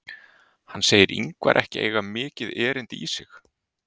Hann segir Ingvar ekki eiga mikið erindi í sig.